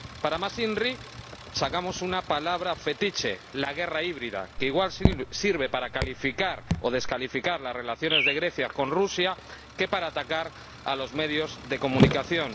Para más inri, inventamos una palabra fetiche, la guerra híbrida, que sirve tanto para calificar o descalificar las relaciones de Grecia con Rusia como para atacar a los medios de comunicación.